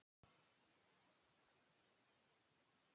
Er forsætisráðherra hættulegur?